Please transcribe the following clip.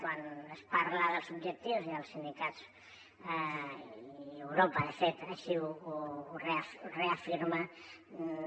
quan es parla dels objectius i els sindicats i europa de fet així ho reafirmen